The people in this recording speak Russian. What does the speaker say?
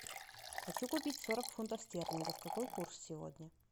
хочу купить сорок фунтов стерлингов какой курс сегодня